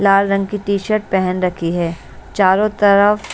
लाल रंग की T shirt पहन रखी है चारों तरफ--